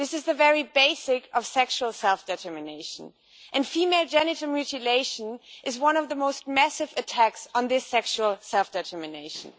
This is the very basic of sexual self determination, and female genital mutilation is one of the most massive attacks on this sexual self determination.